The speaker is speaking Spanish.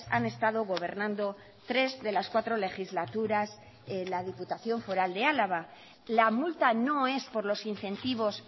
han estado gobernando tres de las cuatro legislaturas en la diputación foral de álava la multa no es por los incentivos